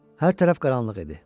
Hər tərəf qaranlıq idi.